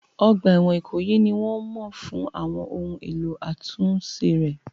Ọgbà ẹ̀wọ̀n Ikoyi ni wọ́n mọ̀ fún àwọn ohun èlò àtúnṣe rẹ̀.